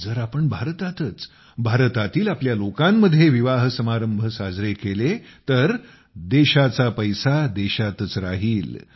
जर आपण भारतातच भारतातील आपल्या लोकांमध्ये विवाह समारंभ साजरे केले तर देशाचा पैसा देशातच राहील